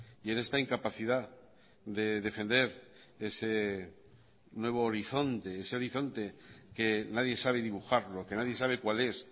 y en esta incapacidad de defender ese nuevo horizonte ese horizonte que nadie sabe dibujarlo que nadie sabe cuál es